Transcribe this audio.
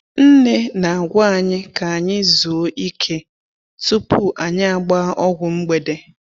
Nne na-agwa anyị ka anyị zuo ike tupu anyị agbaa ọgwụ mgbede.